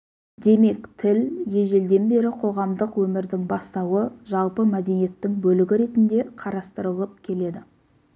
демек тіл ежелден бері қоғамдық өмірдің бастауы жалпы мәдениеттің бөлігі ретінде қарастырылып келеді